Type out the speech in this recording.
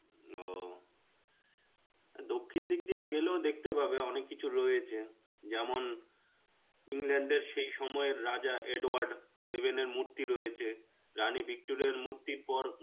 তো দক্ষিন দিক দিয়েও গেলেও দেখতে পাবেঅনেক কিছু রয়েছে. যেমন England এর সেই সময়ের রাজা edward seven এর মূর্তি রয়েছে. রানী Victoria র মূর্তির পর